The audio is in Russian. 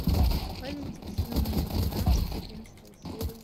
политик сезон двенадцать одиннадцатая серия